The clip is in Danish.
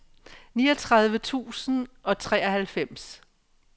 niogtredive tusind og treoghalvfems